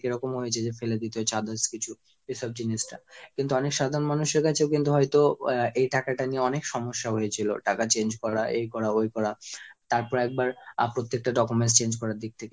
এরকম হয়েছে যে ফেলে দিতে হয়েছে others কিছু। এসব জিনিসটা কিন্তু অনেক সাধারণ মানুষের কাছেও কিন্তু হয়তো আহ এই টাকাটা নিয়ে অনেক সমস্যা হয়েছিল। টাকা change করা, এই করা, ওই করা তারপর একবার প্রত্যেকটা documents change করার দিক থেকে